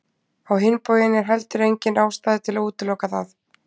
Á hinn bóginn er heldur engin ástæða til að útiloka það.